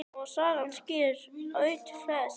Saga skýrir atvik flest.